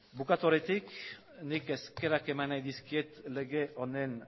bukatu aurretik nik eskerrak eman nahi dizkiet lege honen